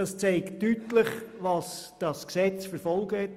Und das zeigt deutlich, welche Folgen dieses Gesetz hat.